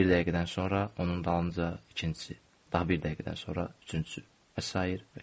Bir dəqiqədən sonra onun dalınca ikincisi, daha bir dəqiqədən sonra üçüncüsü və sair və ilaxır.